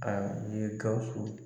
n ye GAWUSU.